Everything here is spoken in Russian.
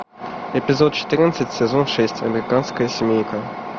эпизод четырнадцать сезон шесть американская семейка